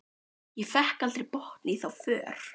Ég fékk aldrei botn í þá för.